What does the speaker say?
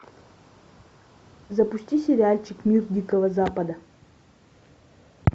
запусти сериальчик мир дикого запада